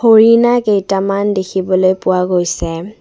উৰিনা কেইটামান দেখিবলৈ পোৱা গৈছে।